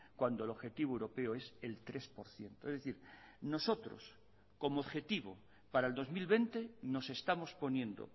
cuando el objetivo europeo es el tres por ciento es decir nosotros como objetivo para el dos mil veinte nos estamos poniendo